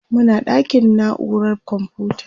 Muna ɗakin naurar komfuta.